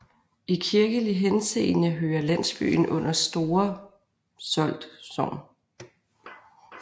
I kirkelig henseende hører landsbyen under Store Solt Sogn